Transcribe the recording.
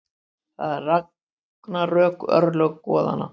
Þetta eru ragnarök, örlög goðanna.